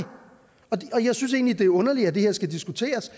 og jeg synes egentlig det er underligt at det her skal diskuteres